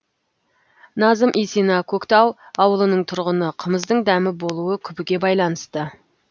назым исина көктау ауылының тұрғыны қымыздың дәмі болуы күбіге байланысты